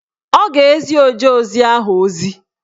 Ọ ga-ezi ojeozi ahụ ozi.